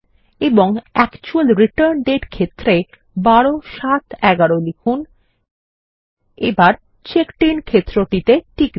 এবং actual return দাতে ক্ষেত্রে ১২৭১১ লিখুন এবার চেকডিন ক্ষেত্র তে টিক দিন